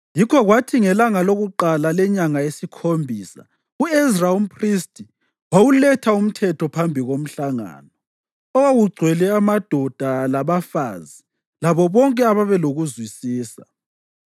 Yikho kwathi ngelanga lokuqala lenyanga yesikhombisa u-Ezra umphristi wawuletha uMthetho phambi komhlangano, owawugcwele amadoda labafazi labo bonke ababelokuzwisisa.